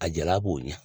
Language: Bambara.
A jala k'o ɲɛ